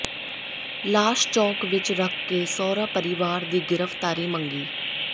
ਲਾਸ਼ ਚੌਕ ਵਿਚ ਰੱਖ ਕੇ ਸਹੁਰਾ ਪਰਿਵਾਰ ਦੀ ਗ੍ਰਿਫਤਾਰੀ ਮੰਗੀ